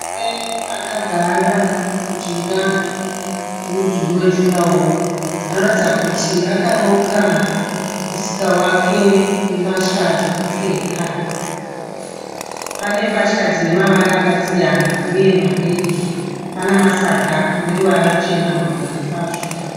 Murume akagara mujinga memudhuri wejuraworo anoratidza kuti akaronga musika wake wembatya dzekupfeka. Pane mbatya dzinemavara akasiyana uye mabhegi, pane masaga aneruva ruchena mahombe kwazvo.